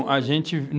A gente